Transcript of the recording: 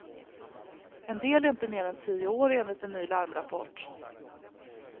En del är inte mer än tio år, enligt en ny larmrapport.